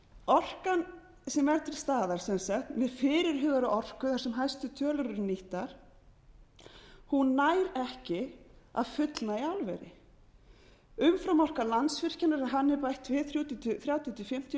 orkan sem er til staðar sem sagt með fyrirhugaða orku þar sem hæstu tölur eru nýttar hún nær ekki að fullnægja álveri umframorka landsvirkjunar ef henni er bætt við er þrjátíu til fimmtíu